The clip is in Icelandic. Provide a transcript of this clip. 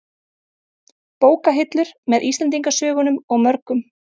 Bókahillur, með Íslendingasögunum og mörgum